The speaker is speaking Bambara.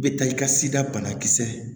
I bɛ taa i ka sida banakisɛ